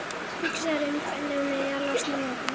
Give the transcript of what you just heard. Hugsar um hvernig hún eigi að losna við hann.